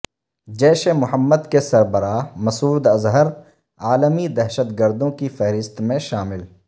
جیش محمد کے سربراہ مسعود اظہر عالمی دہشت گروں کی فہرست میں شامل